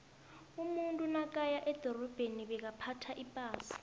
umuntu nakaya edorabheni bekaphtha ipasa